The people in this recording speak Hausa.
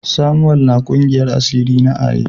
Samuel na kungiyar asiri na Aye.